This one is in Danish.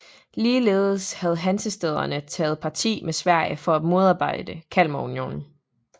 Ligeledes havde hansestæderne taget parti med Sverige for at modarbejde Kalmarunionen